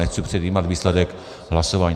Nechci předjímat výsledek hlasování.